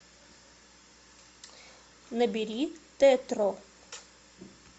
набери тетро